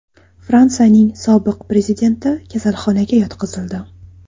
Fransiyaning sobiq prezidenti kasalxonaga yotqizildi.